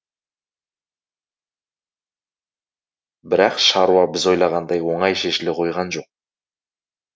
бірақ шаруа біз ойлағандай оңай шешіле қойған жоқ